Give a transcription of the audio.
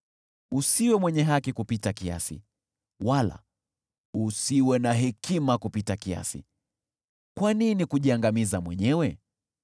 Usiwe mwenye haki kupita kiasi, wala usiwe na hekima kupita kiasi: kwa nini kujiangamiza mwenyewe?